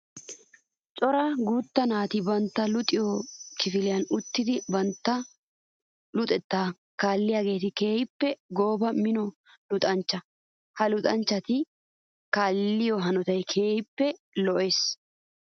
Cora guuta naati bantta luxiyo kifiliyan uttiddi bantta luxetta kaalliyagetti keehippe goobanne mino luxanchcha. Ha luuxanchchatti kaalliyo hanotaykka keehippe lo'ees.